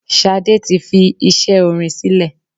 Ṣadé tí fi iṣẹ́ orin sílè.